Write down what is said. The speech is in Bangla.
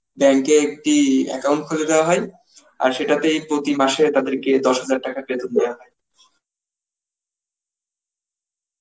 bank এ একটি account খুলে দেওয়া হয়, আর সেটাতেই প্রতি মাসে তাদেরকে দশ হাজার টাকা বেতন দেয়া হয়.